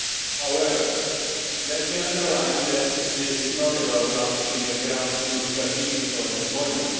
However, let me underline that this is not about launching a grand new strategy for employment.